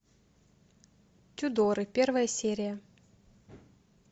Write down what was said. тюдоры первая серия